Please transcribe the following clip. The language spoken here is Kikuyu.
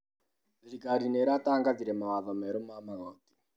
Thirikari nĩĩratangathire mawatho merũ ma magoti.